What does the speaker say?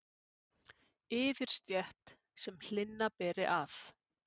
yfirstétt, sem hlynna beri að.